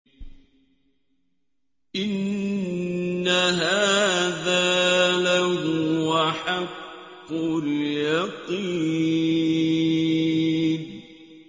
إِنَّ هَٰذَا لَهُوَ حَقُّ الْيَقِينِ